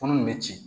Kɔnɔ in bɛ ci